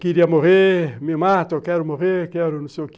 Queria morrer, me matam, quero morrer, quero não sei o quê.